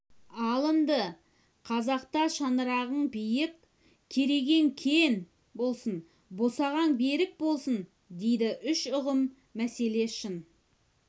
алынды қазақта шаңырағың биік керегең кең болсын босағаң берік болсын дейді үш ұғым мәселе шын